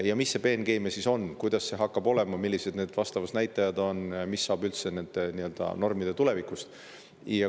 Aga mis see peenkeemia siis on, kuidas see hakkab olema, millised need vastavad näitajad on, mis saab üldse nende normide tulevikust?